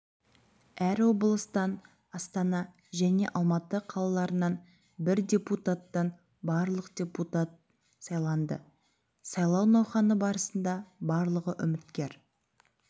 әр облыстан астана және алматы қалаларынан бір депутаттан барлығы депутат сайланды сайлау науқаны барысында барлығы үміткер